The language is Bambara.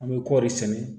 An bɛ kɔri sɛnɛ